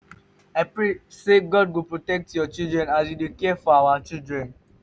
i pray sey god go protect your children as you dey care for our children.